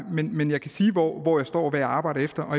men jeg kan sige hvor hvor jeg står og hvad jeg arbejder efter